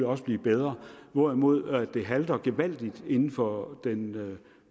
også blive bedre hvorimod det halter gevaldigt inden for den